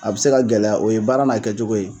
A bɛ se ka gɛlɛ o ye baara n'a kɛ cogo ye.